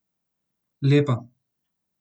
Lepa.